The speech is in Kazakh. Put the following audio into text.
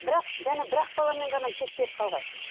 бірақ және бір ақ баламен ғана шектеліп қалған